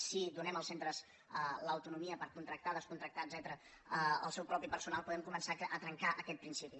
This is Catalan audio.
si donem als centres l’autonomia per contractar descontractar etcètera el seu propi personal podem començar a trencar aquest principi